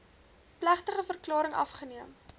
plegtige verklaring afgeneem